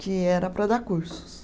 que era para dar cursos.